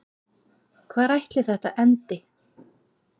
Hvar ætli þetta endi?